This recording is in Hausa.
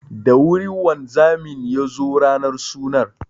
Da wuri wanzamin ya zo ranar sunan.